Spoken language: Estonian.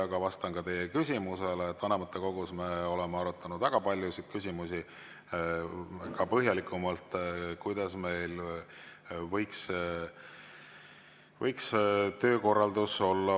Aga vastan ka teie küsimusele: vanematekogus me oleme arutanud väga paljusid küsimusi, põhjalikumalt ka seda, kuidas meil võiks olla parem töökorraldus.